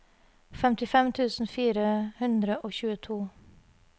femtifem tusen fire hundre og tjueto